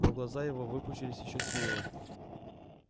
но глаза его выпучились ещё сильнее